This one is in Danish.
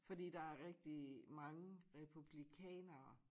Fordi der er rigtig mange republikanere